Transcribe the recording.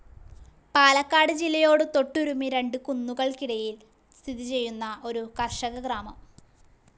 പാലക്കട് ജില്ലയോട് തൊട്ടുരുമ്മി രണ്ട് കുന്നുകൾക്കിടയിൽ സ്ഥിതി ചെയ്യുന്ന ഒരു കർഷക ഗ്രാമം.